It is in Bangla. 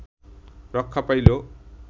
রক্ষা পাইল